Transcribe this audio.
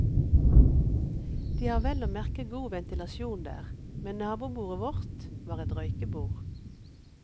De har vel og merke god ventilasjon der, men nabobordet vårt, var et røykebord.